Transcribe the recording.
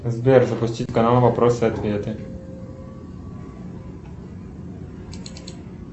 сбер запустить канал вопросы и ответы